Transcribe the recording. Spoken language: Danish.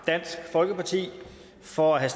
dansk folkeparti for at have